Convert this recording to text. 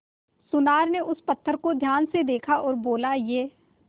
सुनार ने उस पत्थर को ध्यान से देखा और बोला ये